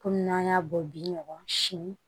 Kɔmi n'an y'a bɔ bi ɲɔgɔn si